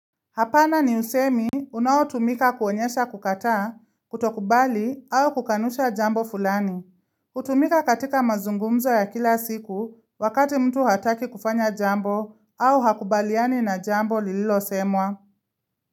Hapana ni usemi unao tumika kuonyesha kukataa, kutokubali au kukanusha jambo fulani. Hutumika katika mazungumzo ya kila siku wakati mtu hataki kufanya jambo au hakubaliani na jambo lililo semwa.